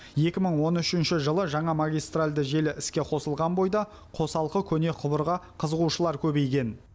екі мың он үшінші жылы жаңа магистральды желі іске қосылған бойда қосалқы көне құбырға қызығушылар көбейген